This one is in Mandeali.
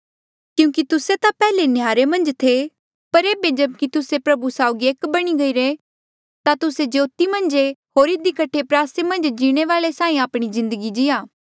क्यूंकि तुस्से ता पैहले नहयारे मन्झ थे पर एेबे जेब्की तुस्से प्रभु साउगी एक बणी गईरे ता तुस्से ज्योति मन्झ ऐें होर इधी कठे प्रयासे मन्झ जीणे वाले साहीं आपणी जिन्दगी जीया